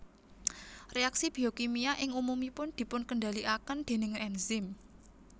Reaksi biokimia ing umumipun dipunkendaliaken déning enzim